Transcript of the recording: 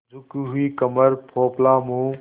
झुकी हुई कमर पोपला मुँह